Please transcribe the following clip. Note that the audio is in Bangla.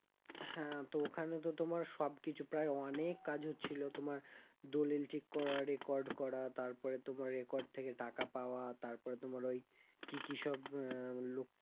হ্যাঁ তো ওখানে তো তোমার সব কিছু প্রায় অনেক কাজ হচ্ছিল তোমার দলিল ঠিক করা record করা তারপরে তোমার record থেকে টাকা পাওয়া তারপরে তোমার ওই কি কি সব আহ